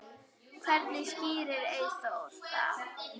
Hvernig skýrir Eyþór það?